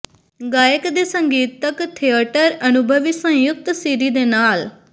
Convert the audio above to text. ਗਾਇਕ ਦੇ ਸੰਗੀਤਕ ਥੀਏਟਰ ਅਨੁਭਵੀ ਸਯੁੰਕਤ ਸੀਡੀ ਦੇ ਨਾਲ